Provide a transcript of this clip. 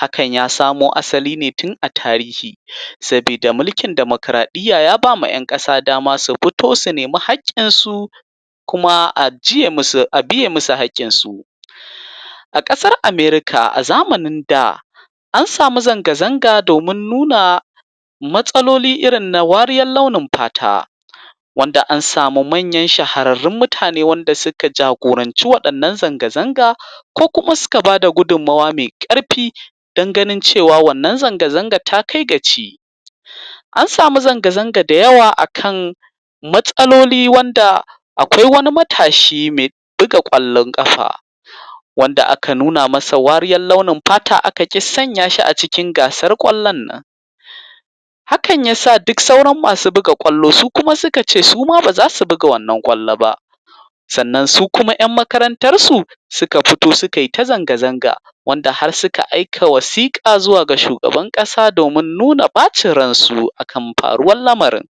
Hakan yasamo asaline tun a tarihi. Sabida milkin demokaraɗiyya yabama yan ƙasa dama su fito su nemi haƙƙinsu. Kuma a jiye musu a biye musu haƙƙinsu. A kasar America a zamanin da an samu zanga zanga domin nuna, matsalolin irin na wariyar launin fata. Wanda ansamu manyan shahararrun mutane, wanda suka jagoranci wannan zanga zanga ko kuma suka bada gudun mawa me ƙarfi. Don ganin cewa wannan zanga zanga takai ga ci. An samu zanga zanga dayawa akan matsaloli wanda akwai wani matashi me buga kwallon kafa. Wanda aka nuna masa wariyar launin fata Aka ƙi sanyashi acikin gasan ƙwallon nan. Hakan yasa duk sauran masu buga kwallon, su kuma sukace suma bazasu buga wannan kwallo ba. Sannan sukuma yan makarantarsu, suka fito sukaita zanga zanga. Wanda har suka aika wasiƙa, zuwaga shugaban ƙasa, domin nuna bacin ransu akan faruwar lamarin.